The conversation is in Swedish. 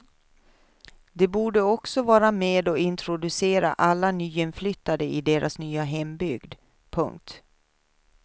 De borde också vara med och introducera alla nyinflyttade i deras nya hembygd. punkt